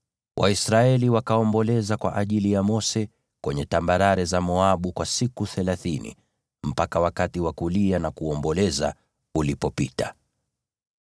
Waisraeli wakaomboleza kwa ajili ya Mose kwenye tambarare za Moabu kwa siku thelathini, mpaka wakati wa kulia na kuomboleza ulipopita.